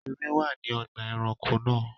Erin wà ní ọgbà-ẹranko náà.